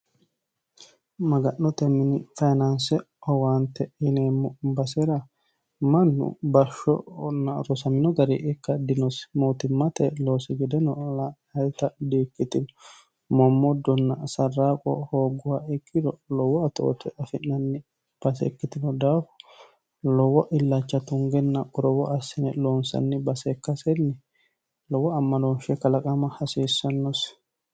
maga'note mini fayinaanse owaante yineemmo basera mannu bashshosmino gari ikka dinosi mootimmate loosi gedeno lta di-ikkitino mommoddonna sarraaqo hoogguha ikkiro lowo atoote afi'nanni base ikkitino daafu lowo illacha tungenna qurowo assine loonsanni base ikkasenni lowo ammanoonshe kalaqama hasiissannosi